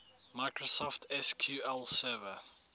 microsoft sql server